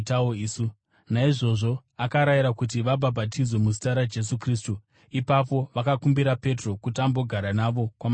Naizvozvo akarayira kuti vabhabhatidzwe muzita raJesu Kristu. Ipapo vakakumbira Petro kuti ambogara navo kwamazuva mashoma.